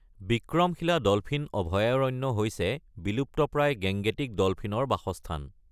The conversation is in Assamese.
বিক্ৰমশিলা ডলফিন অভয়াৰণ্য হৈছে বিলুপ্তপ্ৰায় গেংগেটিক ডলফিনৰ বাসস্থান।